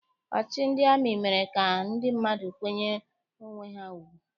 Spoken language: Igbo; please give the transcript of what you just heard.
Ọchịchị ndị amị mere ka ndị mmadụ kwanyere onwe ha ugwu.